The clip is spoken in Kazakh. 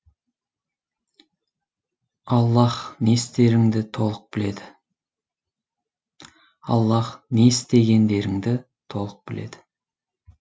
аллаһ не істеріңді толық біледі аллаһ не істегендеріңді толық біледі